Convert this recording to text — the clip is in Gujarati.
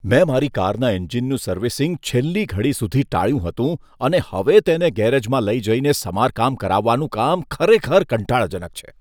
મેં મારી કારના એન્જિનનું સર્વિસિંગ છેલ્લી ઘડી સુધી ટાળ્યું હતું અને હવે તેને ગેરેજમાં લઈ જઈને સમારકામ કરાવવાનું કામ ખરેખર કંટાળાજનક છે.